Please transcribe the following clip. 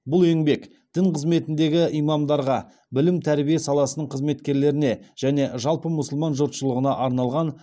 бұл еңбек дін қызметіндегі имамдарға білім тәрбие саласының қызметкерлеріне және жалпы мұсылман жұртшылығына арналған